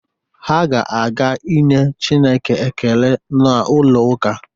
Ha ga-aga nye Chineke ekele n'ụlọ ụka.